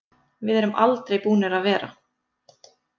Við erum aldrei búnir að vera.